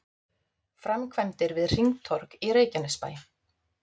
Framkvæmdir við hringtorg í Reykjanesbæ